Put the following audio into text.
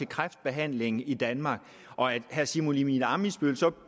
kræftbehandlingen i danmark og at herre simon emil ammitzbøll så